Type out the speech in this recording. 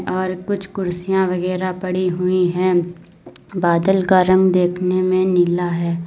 और कुछ कुर्सियां वगैरा पड़ी हुई है बादल का रंग देखने में नीला है।